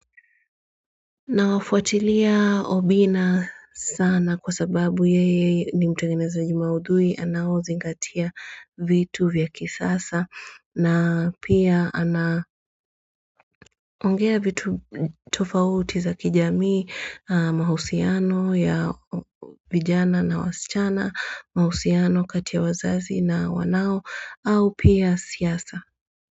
Na wafuatilia obina sana kwa sababu yeye ni mtungeneza jima udui anao zingatia vitu vyakisasa na pia anaongea vitu tofauti za kijamii mahusiano ya vijana na wasichana mahusiano kati ya wazazi na wanao au pia siasa.